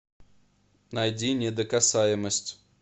найди недокасаемость